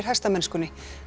hestamennskunni